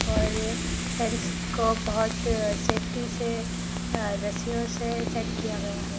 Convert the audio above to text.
और टेंट्स को बहोत सेफ्टी से अ रस्सियों से सेट किया गया है।